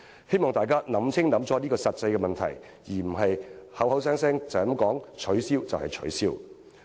希望大家想清楚這個實際問題，而不是隨便說取消便取消。